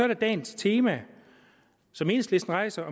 der dagens tema som enhedslisten rejser